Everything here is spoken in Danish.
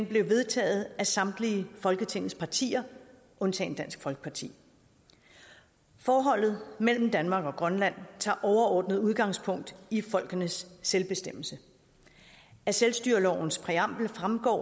blev vedtaget af samtlige folketingets partier undtagen dansk folkeparti forholdet mellem danmark og grønland tager overordnet udgangspunkt i folkenes selvbestemmelse af selvstyrelovens præambel fremgår